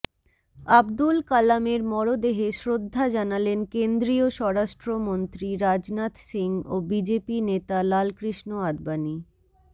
আবদুল কালামের মরদেহে শ্রদ্ধা জানালেন কেন্দ্রীয় স্বরাষ্ট্রমন্ত্রী রাজনাথ সিং ও বিজেপি নেতা লালকৃষ্ণ আদবানি